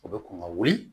O bɛ kɔn ka wuli